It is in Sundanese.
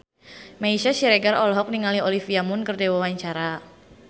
Meisya Siregar olohok ningali Olivia Munn keur diwawancara